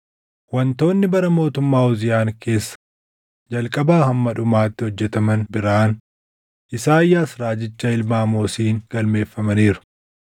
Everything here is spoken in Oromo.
Wantoonni bara mootummaa Uziyaan keessa jalqabaa hamma dhumaatti hojjetaman biraan Isaayyaas raajicha ilma Amoosiin galmeeffamaniiru.